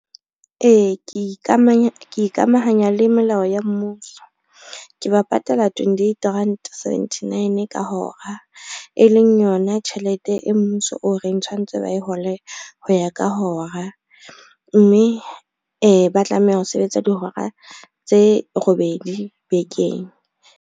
Ee, ke ikamahanya le melao ya mmuso, ke ba patala twentyeight rand seventynine ka hora, e leng yona tjhelete e mmuso o reng tshwantse ba e hole ho ya ka hora, mme ba tlameha ho sebetsa dihora tse robedi bekeng.